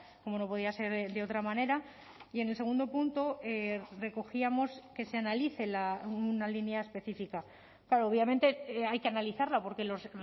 como no podía ser de otra manera y en el segundo punto recogíamos que se analice una línea específica claro obviamente hay que analizarla porque los